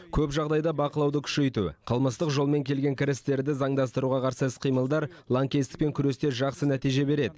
көп жағдайда бақылауды күшейту қылмыстық жолмен келген кірістерді заңдастыруға қарсы іс қимылдар лаңкестікпен күресте жақсы нәтиже береді